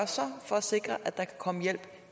for at sikre at der kan komme hjælp